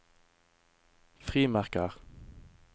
frimerker